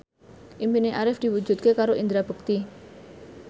impine Arif diwujudke karo Indra Bekti